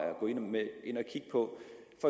at gå